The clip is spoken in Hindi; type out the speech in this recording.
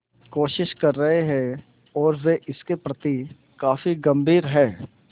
कोशिश कर रहे हैं और वे इसके प्रति काफी गंभीर हैं